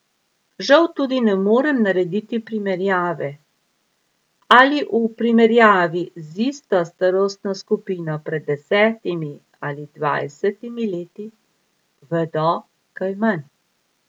Žal tudi ne morem narediti primerjave, ali v primerjavi z isto starostno skupino pred desetimi ali dvajsetimi leti vedo kaj manj.